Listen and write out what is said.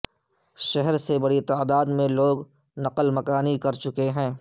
شہر سے بڑی تعداد میں لوگ نقل مکانی کر چکے ہیں